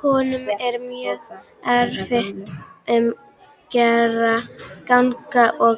Honum er mjög erfitt um gang og